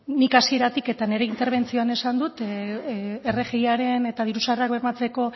nik hasieratik eta nire interbentzioan esan dut rgiaren eta diru sarrerak bermatzeko